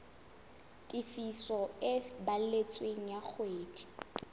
tefiso e balletsweng ya ngodiso